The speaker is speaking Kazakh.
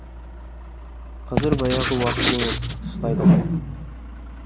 қазір баяғы уақыт емес ұстайды ғой